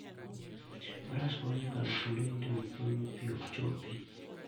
Faras konyo e kalo kuonde motimo kwoyo ma pi ok chopi.